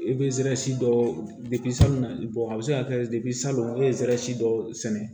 I bɛ zɛri dɔ salon a bɛ se ka kɛ salon n'i ye zɛri si dɔ sɛnɛ